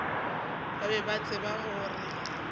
ba be ba tseba gore